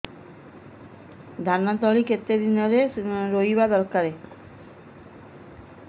ଧାନ ତଳି କେତେ ଦିନରେ ରୋଈବା ଦରକାର